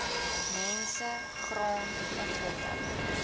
mense grond onwettig